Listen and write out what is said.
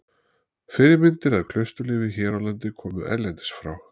Fyrirmyndir að klausturlífi hér á landi komu erlendis frá.